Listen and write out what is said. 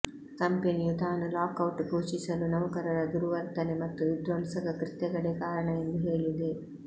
ಕಂಪೆನಿಯು ತಾನು ಲಾಕೌಟ್ ಘೋಷಿಸಲು ನೌಕರರ ದುರ್ವರ್ತನೆ ಮತ್ತು ವಿಧ್ವಂಸಕ ಕೃತ್ಯಗಳೇ ಕಾರಣ ಎಂದು ಹೇಳಿದೆ